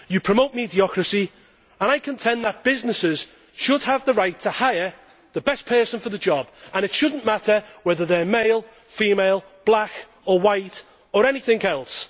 You promote mediocrity and I contend that businesses should have the right to hire the best person for the job and it should not matter whether they are male, female, black or white or anything else.